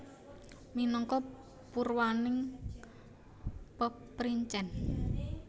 Minangka purwaning peprincèn